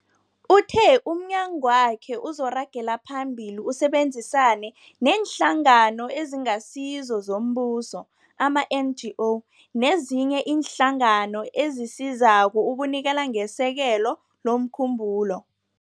Uthe umnyagwakhe uzoragela phambili usebenzisane neeNhlangano eziNgasizo zoMbuso, ama-NGO, nezinye iinhlangano ezisizako ukunikela ngesekelo lomkhumbulo.